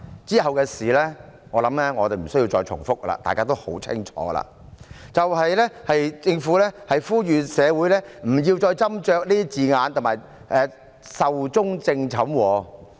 往後發生的事，我相信我無須重複，大家也知得十分清楚，便是政府呼籲社會不要再斟酌字眼，並表示《條例草案》已壽終正寢。